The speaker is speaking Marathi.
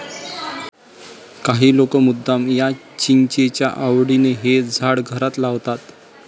काही लोक मुद्दाम या चिंचेच्या आवडीने हे झाड घरात लावतात.